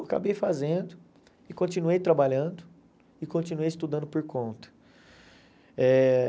Acabei fazendo e continuei trabalhando e continuei estudando por conta. Eh